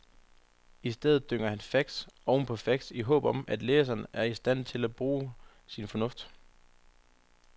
I stedet dynger han facts oven på facts i håb om, at læseren er i stand til at bruge sin fornuft.